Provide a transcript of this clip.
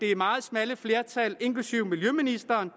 det meget smalle flertal inklusiv miljøministeren